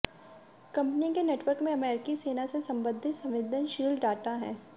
company के network में अमरीकी सेना से संबंधित संवेदनशील डाटा है